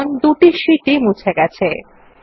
দেখুন দুটি শীট ই মুছে গেছে